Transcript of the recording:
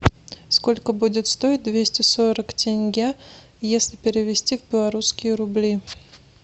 сколько будет стоить двести сорок тенге если перевести в белорусские рубли